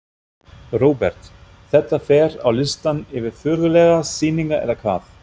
Róbert: Þetta fer á listann yfir furðulegar sýningar eða hvað?